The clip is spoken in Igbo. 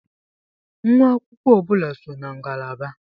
Nwa akwụkwọ ọ bụla so na ngalaba.